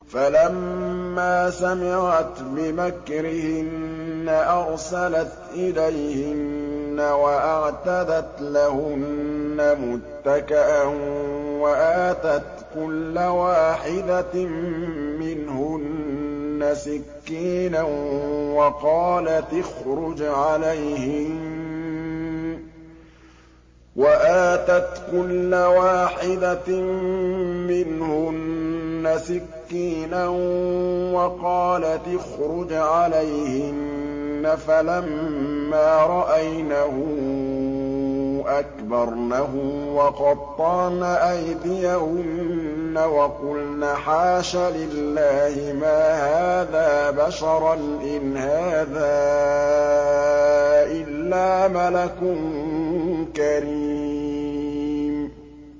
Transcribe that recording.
فَلَمَّا سَمِعَتْ بِمَكْرِهِنَّ أَرْسَلَتْ إِلَيْهِنَّ وَأَعْتَدَتْ لَهُنَّ مُتَّكَأً وَآتَتْ كُلَّ وَاحِدَةٍ مِّنْهُنَّ سِكِّينًا وَقَالَتِ اخْرُجْ عَلَيْهِنَّ ۖ فَلَمَّا رَأَيْنَهُ أَكْبَرْنَهُ وَقَطَّعْنَ أَيْدِيَهُنَّ وَقُلْنَ حَاشَ لِلَّهِ مَا هَٰذَا بَشَرًا إِنْ هَٰذَا إِلَّا مَلَكٌ كَرِيمٌ